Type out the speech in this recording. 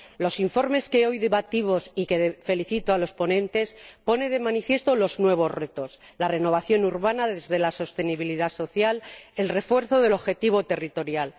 Los informes que hoy debatimos y por los que felicito a los ponentes ponen de manifiesto los nuevos retos la renovación urbana desde la sostenibilidad social, el refuerzo del objetivo territorial.